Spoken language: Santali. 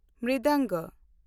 ᱢᱨᱤᱫᱚᱝᱜᱚ